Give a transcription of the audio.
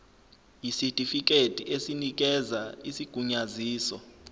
yisitifikedi esinikeza isigunyaziso